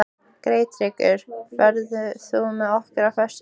Geirtryggur, ferð þú með okkur á föstudaginn?